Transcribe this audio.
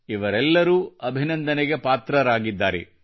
ಇವರೆಲ್ಲರೂ ಅಭಿನಂದನೆಗೆ ಪಾತ್ರರಾಗಿದ್ದಾರೆ